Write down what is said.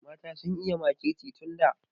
Mata sun iya makirci tun da.